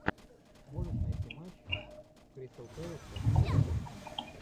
можешь найти матч кристал пэласа и тоттенхэма